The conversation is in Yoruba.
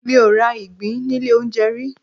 Mi ò ra ìgbín nílé olóunjẹ rí.